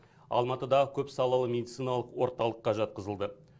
алматыдағы көпсалалы медициналық орталыққа жатқызылды